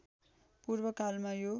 पूर्व कालमा यो